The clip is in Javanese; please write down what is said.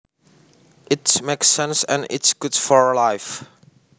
It makes sense and is good for real life